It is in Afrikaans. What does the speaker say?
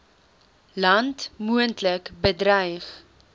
land moontlik bedreig